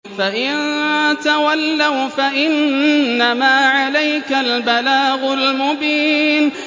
فَإِن تَوَلَّوْا فَإِنَّمَا عَلَيْكَ الْبَلَاغُ الْمُبِينُ